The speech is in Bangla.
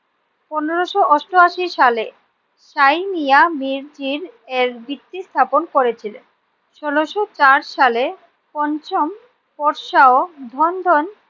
পনেরোশো অষ্টআশি সালে সাই মিঞা মির্জি এর ভিত্তি স্থাপন করেছিলেন। ষোলোশো চার সালে পঞ্চম পোরশা ও ধন্ধন